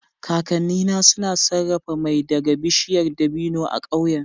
Kakannina suna sarrafa mai daga bishiyar dabino a ƙauyen